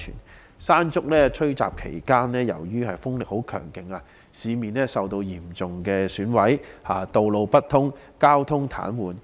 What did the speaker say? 在"山竹"吹襲期間，由於風力十分強勁，市面受到嚴重損毀，道路不通，交通癱瘓。